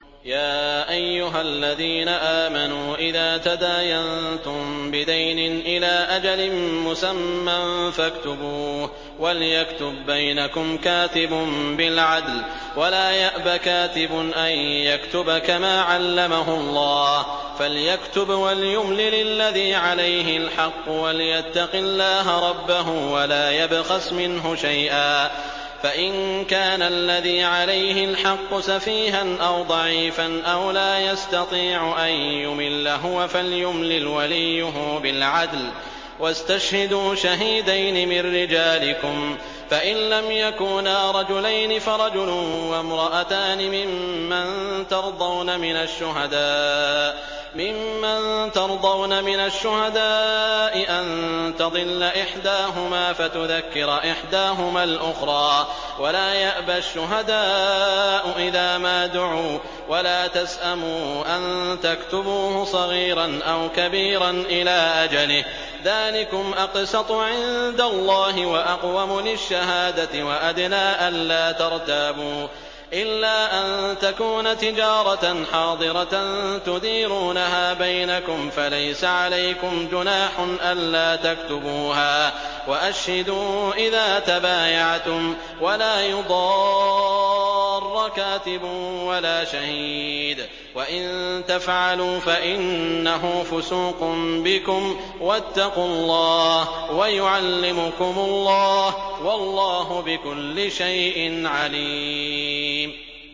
يَا أَيُّهَا الَّذِينَ آمَنُوا إِذَا تَدَايَنتُم بِدَيْنٍ إِلَىٰ أَجَلٍ مُّسَمًّى فَاكْتُبُوهُ ۚ وَلْيَكْتُب بَّيْنَكُمْ كَاتِبٌ بِالْعَدْلِ ۚ وَلَا يَأْبَ كَاتِبٌ أَن يَكْتُبَ كَمَا عَلَّمَهُ اللَّهُ ۚ فَلْيَكْتُبْ وَلْيُمْلِلِ الَّذِي عَلَيْهِ الْحَقُّ وَلْيَتَّقِ اللَّهَ رَبَّهُ وَلَا يَبْخَسْ مِنْهُ شَيْئًا ۚ فَإِن كَانَ الَّذِي عَلَيْهِ الْحَقُّ سَفِيهًا أَوْ ضَعِيفًا أَوْ لَا يَسْتَطِيعُ أَن يُمِلَّ هُوَ فَلْيُمْلِلْ وَلِيُّهُ بِالْعَدْلِ ۚ وَاسْتَشْهِدُوا شَهِيدَيْنِ مِن رِّجَالِكُمْ ۖ فَإِن لَّمْ يَكُونَا رَجُلَيْنِ فَرَجُلٌ وَامْرَأَتَانِ مِمَّن تَرْضَوْنَ مِنَ الشُّهَدَاءِ أَن تَضِلَّ إِحْدَاهُمَا فَتُذَكِّرَ إِحْدَاهُمَا الْأُخْرَىٰ ۚ وَلَا يَأْبَ الشُّهَدَاءُ إِذَا مَا دُعُوا ۚ وَلَا تَسْأَمُوا أَن تَكْتُبُوهُ صَغِيرًا أَوْ كَبِيرًا إِلَىٰ أَجَلِهِ ۚ ذَٰلِكُمْ أَقْسَطُ عِندَ اللَّهِ وَأَقْوَمُ لِلشَّهَادَةِ وَأَدْنَىٰ أَلَّا تَرْتَابُوا ۖ إِلَّا أَن تَكُونَ تِجَارَةً حَاضِرَةً تُدِيرُونَهَا بَيْنَكُمْ فَلَيْسَ عَلَيْكُمْ جُنَاحٌ أَلَّا تَكْتُبُوهَا ۗ وَأَشْهِدُوا إِذَا تَبَايَعْتُمْ ۚ وَلَا يُضَارَّ كَاتِبٌ وَلَا شَهِيدٌ ۚ وَإِن تَفْعَلُوا فَإِنَّهُ فُسُوقٌ بِكُمْ ۗ وَاتَّقُوا اللَّهَ ۖ وَيُعَلِّمُكُمُ اللَّهُ ۗ وَاللَّهُ بِكُلِّ شَيْءٍ عَلِيمٌ